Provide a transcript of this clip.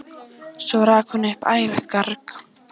Svo rak hún upp ægilegt garg.